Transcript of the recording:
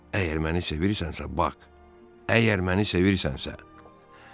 Əgər məni sevirsənsə, Bak, əgər məni sevirsənsə.